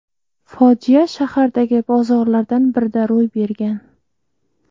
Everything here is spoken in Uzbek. Fojia shahardagi bozorlardan birida ro‘y bergan.